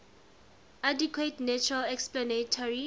adequate natural explanatory